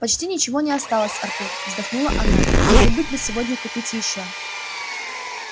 почти ничего не осталось артур вздохнула она не забыть бы сегодня купить ещё